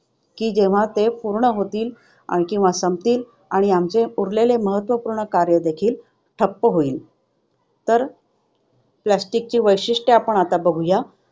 ते केव्हा पूर्ण होतील, ज्यामुळे आमचे उरलेले महत्त्वपूर्ण कार्य देखील ठप्प होईल. तर plastic ची वैशिष्ट्ये आपण आता बघूया